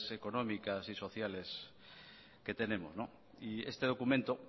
económicas y sociales que tenemos este documento